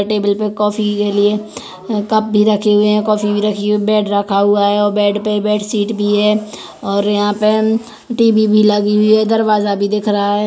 Table पे coffee के लिए कप भी रखे हुए है बेड रखा हुआ है बेड पे बेडशीट भी है और यहाँ पे टीवी भी लगी हुई है दरवाजा भी दिख रहा है।